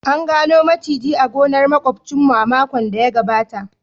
An gano maciji a gonar makwabcinmu a makon da ya gabata